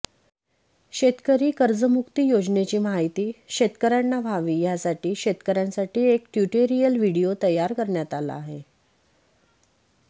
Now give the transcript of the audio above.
शेतकरी कर्जमुक्ती योजनेची माहिती शेतकऱ्यांना व्हावी यासाठी शेतकऱ्यांसाठी एक ट्युटोरियल व्हिडिओ तयार करण्यात आला आहे